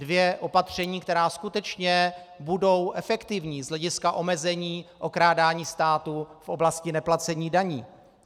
Dvě opatření, která skutečně budou efektivní z hlediska omezení okrádání státu v oblasti neplacení daní.